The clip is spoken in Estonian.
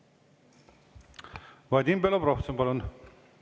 Vadim Belobrovtsev, palun!